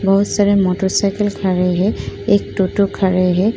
बहोत सारे मोटरसाइकिल्स खड़ी हैं। एक टोटो खड़ी है।